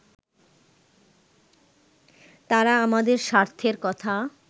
তারা আমাদের স্বার্থের কথা